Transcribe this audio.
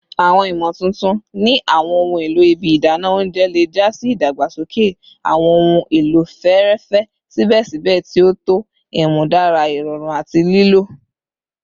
Awọn imotuntun ni awọn ohun elo ibi idana ounjẹ le ja si idagbasoke awọn ohun elo fẹẹrẹfẹ sibẹsibẹ ti o tọ, imudara irọrun ati lilo